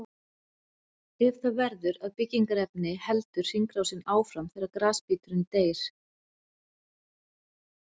Ef það verður að byggingarefni heldur hringrásin áfram þegar grasbíturinn deyr.